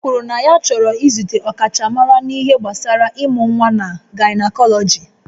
O kwuru na ya chọrọ izute ọkachamara n'ihe gbasara ịmụ nwa na gaịnakọlọji